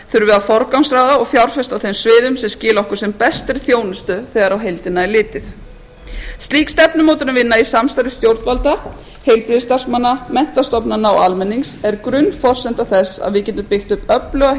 að forgangsraða og fjárfesta á þeim sviðum sem skila okkur sem bestri þjónustu þegar á heildina er litið slík stefnumótunarvinna í samstarfi stjórnvalda heilbrigðisstarfsmanna menntastofnana og almennings er grunnforsenda þess að við getum byggt upp öfluga